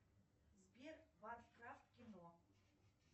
сбер варкрафт в кино